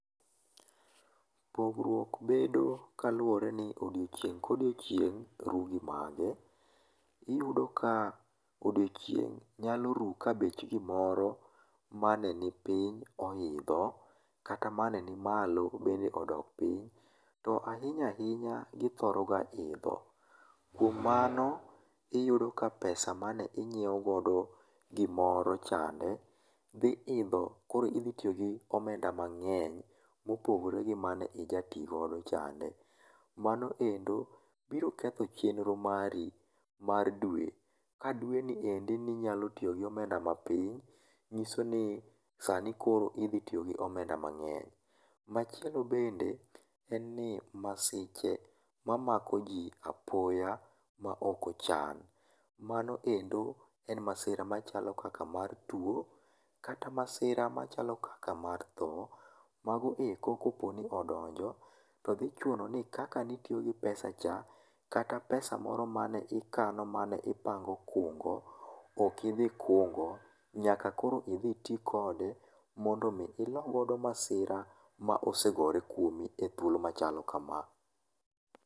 Pogruok bedo kaluwore ni odiechieng' ka odiechieng' ru gi mage. Iyudo ka odiechieng' nyalo ru ka bech gimoro mane nipiny oidho kata mane nimalo bende odok piny, to ahinya ahinya githoroga idho. Kuom mano iyudo ka pesa mane onyiewo godo gimoro c hande, dhi idhom koro idhi tiyo gi omenda mang'eny, mopogore gi mane ijati godo chande. Mamno endo biro ketho chenro mari mar dwe. Ka dweni endi inyalo tiyo gi omenda mapiny, nyison i sani koro idhi tiyo gi omenda mang'eny. Machielo bende en ni masiche mamako ji apoya maok ochan. Mano endo en masira machalo kaka mar tuo, kata masira machalo kaka mar tho. Mano eko kadipo ni odonjo to dhi chuno ni kaka ne itiyo gi pesa cha, kata pesa moro ma ne ikano mane ipango kungo ok idhi kungo. Nyaka koro idhi ti kode ilogo masira mosegore kuomi ethuolo machalo kama.